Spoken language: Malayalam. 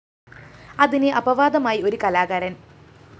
അതിന് അപവാദമായി ഒരു കലാകാരന്‍